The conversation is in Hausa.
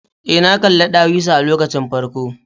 Ee, na kalli ɗawisu a lokacin farko.